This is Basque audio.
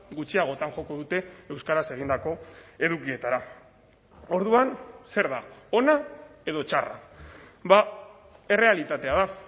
gutxiagotan joko dute euskaraz egindako edukietara orduan zer da ona edo txarra errealitatea da